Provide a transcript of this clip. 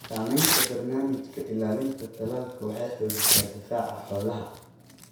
Samaynta barnaamijka ilaalinta talaalka waxay xoojisaa difaaca xoolaha.